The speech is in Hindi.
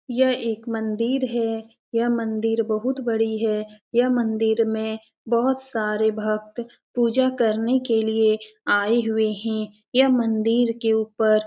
यह एक मंदीर है। यह मंदिर बहोत बड़ी है। यह मंदिर मे बहोत सारे भक्त पूजा करने के लिए आये हुए हैं। यह मंदिर के ऊपर --